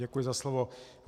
Děkuji za slovo.